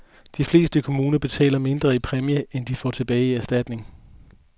De fleste kommuner betaler mindre i præmie, end de får tilbage i erstatninger.